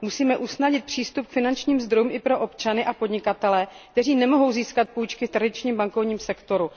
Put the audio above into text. Musíme usnadnit přístup k finančním zdrojům i pro občany a podnikatele, kteří nemohou získat půjčky v tradičním bankovním sektoru.